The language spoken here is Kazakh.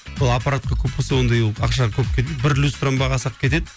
сол аппаратқа көп болса ондай ол ақша көп кетпейді бір люстраның бағасы ақ кетеді